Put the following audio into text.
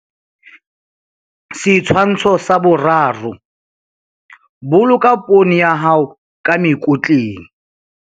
Setshwantsho sa 3. Boloka poone ya hao ka mekotleng.